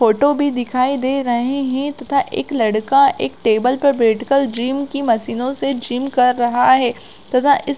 photo भी दिखाई दे रहै है तथा एक लड़का एक टेबल पर बैठ की जिम की मशीनो से जिम कर रहा है तथा इस--